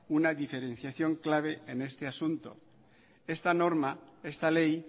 una diferenciación clave en este asunto esta norma esta ley